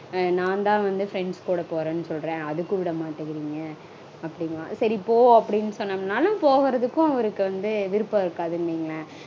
நான்தா வந்து friends கூட போறேனு சொல்றேன் அதுக்கும் விட மாட்டேங்கறீங்க அப்படீம்பான். சரி போ அப்டீனு சொன்னோம்னாலும் போறதுக்கும் அவருக்கு வந்து விருப்பம் இருக்காதுனு வைங்களேன்.